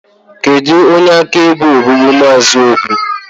kedu onye akaebe ogbugbu Mr obi?